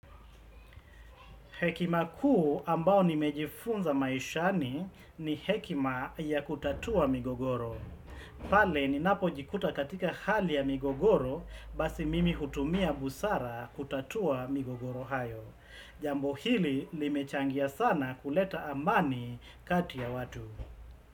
Hekima kuu ambao nimejifunza maishani ni hekima ya kutatua migogoro. Pale ninapojikuta katika hali ya migogoro basi mimi hutumia busara kutatua migogoro hayo. Jambo hili limechangia sana kuleta amani kati ya watu.